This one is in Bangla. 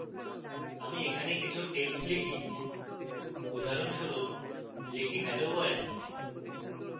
আমি এখানে কিছু text type